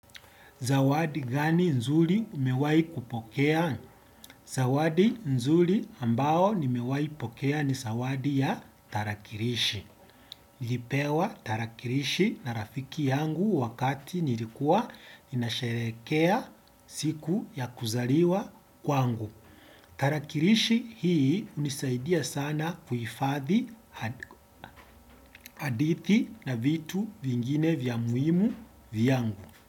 Zawadi gani nzuri umewai kupokea? Zawadi nzuri ambao nimewai pokea ni zawadi ya tarakirishi. Nilipewa tarakilishi na rafiki yangu wakati nilikuwa ninasherekea siku ya kuzaliwa kwangu. Tarakilishi hii hunisaidia sana kuhifadhi hadithi na vitu vingine vya muhimu vyangu.